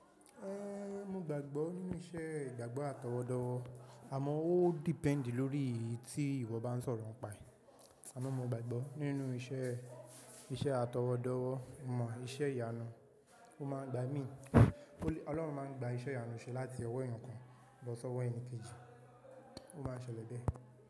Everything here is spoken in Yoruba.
Ehn, mo gbàgbọ́ nínú iṣẹ́ ìgbàgbọ́ àtọwọdọwọ. Àmọ́ ó depend lórí iyí tí ìwọ bá ń sọ̀rọ̀ ń pa. Àmo mo gbàgbọ́ nínú iṣẹ́, iṣẹ́ àtọwọdọwọ mọ iṣẹ́ ìyanu, ó máa ń gba mi, Ọlọ́run máa ń gba iṣẹ́ ìyanu ṣe láti ọwọ́ èèyàn kan lọ sí ọwọ́ èèyàn kejì. Ó máa ń ṣẹlẹ̀ bẹ́ẹ̀.